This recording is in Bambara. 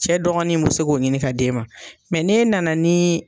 Cɛ dɔgɔnin mun se k'o ɲini ka d'e ma ne nana ni